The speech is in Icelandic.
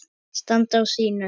Að standa á sínu